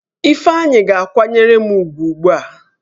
Ifeanyi ga-kwanyere m ugwu ugbu a!